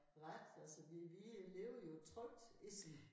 Ret altså vi vi lever jo trygt essen